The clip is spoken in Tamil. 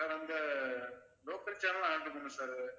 sir அந்த local channel லும் add பண்ணணும் sir